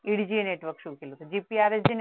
EDGA network सुरू केलं GPRS